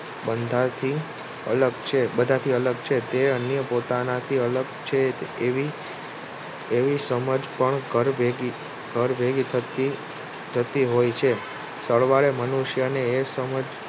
બધાથી અલગ છે. તે અન્ય પોતાનાથી અલગ છે એવી સમજ પણ ઘર ભેગી થતી હોય છે સરવાળે મનુષ્યને એ સમજ